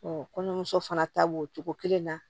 kɔɲɔmuso fana ta b'o cogo kelen na